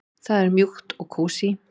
Það er mjúkt og kósí.